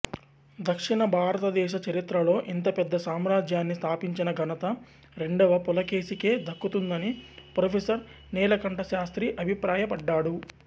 దక్షిణభారతదేశ చరిత్రలో ఇంతపెద్ద సామ్రాజ్యాన్ని స్థాపించిన ఘనత రెండవ పులకేశికే దక్కుతుందని ప్రొఫెసర్ నీలకంఠశాస్త్రి అభిప్రాయపడ్డాడు